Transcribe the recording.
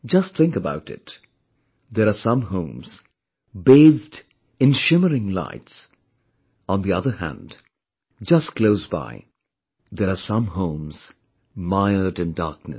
Just think about it; there are some homes, bathed in shimmering lights; on the other hand, just close by, there are some homes mired in darkness